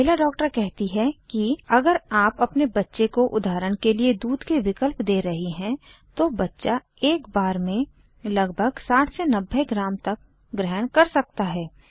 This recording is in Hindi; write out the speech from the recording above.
महिला डॉक्टर कहती है कि अगर आप अपने बच्चे को उदाहरण के लिए दूध के विकल्प दे रही हैं तो बच्चा एक बार में लगभग 60 90 ग्राम तक ग्रहण कर सकता है